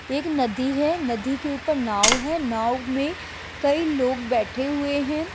एक नदी है। नदी के ऊपर नाव है। नाव में कई लोग बैठे हुए हैं।